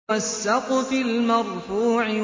وَالسَّقْفِ الْمَرْفُوعِ